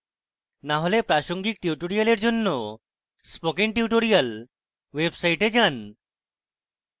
না হলে প্রাসঙ্গিক perl tutorials জন্য spoken tutorials website যান